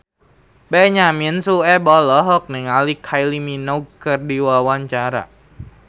Benyamin Sueb olohok ningali Kylie Minogue keur diwawancara